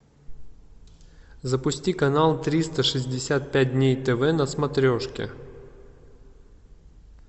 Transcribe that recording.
запусти канал триста шестьдесят пять дней тв на смотрешке